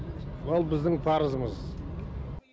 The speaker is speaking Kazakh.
ол біздің парызымыз